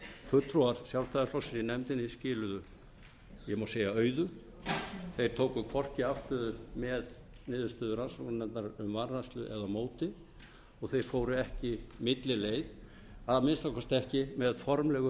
fulltrúar sjálfstæðisflokksins í nefndinni skiluðu ég má segja auðu þeir tóku hvorki afstöðu með niðurstöðu rannsóknarnefndar um vanrækslu né á móti og þeir fóru ekki millileið að minnsta kosti ekki með formlegu